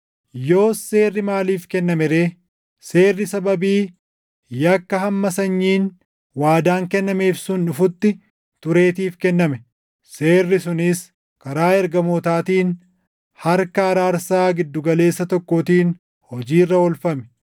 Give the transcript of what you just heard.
Yoos seerri maaliif kenname ree? Seerri sababii yakka hamma Sanyiin waadaan kennameef sun dhufutti tureetiif kenname. Seerri sunis karaa ergamootaatiin harka araarsaa gidduu galeessa tokkootiin hojii irra oolfame.